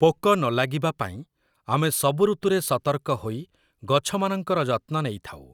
ପୋକ ନଲାଗିବା ପାଇଁ ଆମେ ସବୁ ଋତୁରେ ସତର୍କ ହୋଇ ଗଛମାନଙ୍କର ଯତ୍ନ ନେଇଥାଉ ।